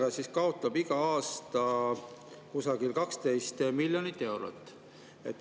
Aga sellega kaotab iga aasta kusagil 12 miljonit eurot.